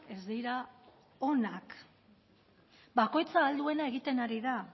ez dira onak bakoitza ahal duena egiten ari da